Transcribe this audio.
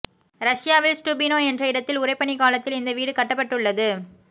ரஷ்யாவில் ஸ்டுபினோ என்ற இடத்தில் உறைபனிக் காலத்தில் இந்த வீடு கட்டப்பட்டுள்ளது